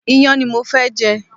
Iyán ni mo fẹ́ jẹ